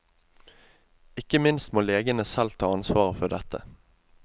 Ikke minst må legene selv ta ansvaret for dette.